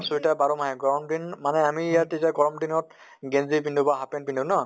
sweater বাৰ মাহে গৰম দিন মানে আমি ইয়াত তেতিয়া গৰম দিনত গেন্জি পিন্ধো বা half pant পিন্ধো ন